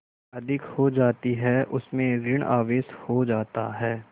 अधिक हो जाती है उसमें ॠण आवेश हो जाता है